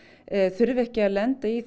þurfi ekki að lenda í